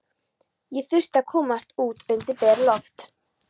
Ég þurfti að komast út undir bert loft.